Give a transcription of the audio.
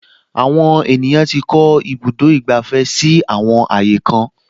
Àwọn ènìyàn tí kọ́ ibùdó ìgbàfẹ́ si àwọn ààyè kan